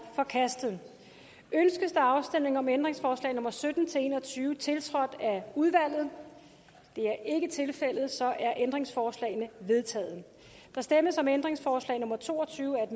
forkastet ønskes der afstemning om ændringsforslag nummer sytten til en og tyve tiltrådt af udvalget det er ikke tilfældet så er ændringsforslagene vedtaget der stemmes om ændringsforslag nummer to og tyve af